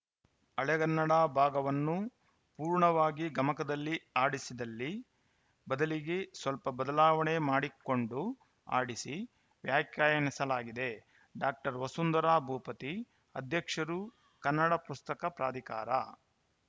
ಹಳೆಗನ್ನಡ ಭಾಗವನ್ನು ಪೂರ್ಣವಾಗಿ ಗಮಕದಲ್ಲಿ ಹಾಡಿಸಿಲ್ಲ ಬದಲಿಗೆ ಸ್ವಲ್ಪ ಬದಲಾವಣೆ ಮಾಡಿಕೊಂಡು ಹಾಡಿಸಿ ವ್ಯಾಖ್ಯಾನಿಸಲಾಗಿದೆ ಡಾಕ್ಟರ್ ವಸುಂಧರಾ ಭೂಪತಿ ಅಧ್ಯಕ್ಷರು ಕನ್ನಡ ಪುಸ್ತಕ ಪ್ರಾಧಿಕಾರ